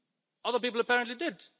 Other people apparently did.